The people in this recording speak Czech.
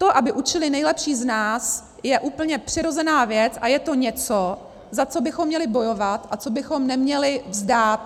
To, aby učili nejlepší z nás, je úplně přirozená věc a je to něco, za co bychom měli bojovat a co bychom neměli vzdát.